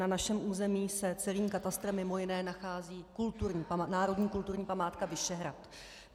Na našem území se celým katastrem mimo jiné nachází národní kulturní památka Vyšehrad.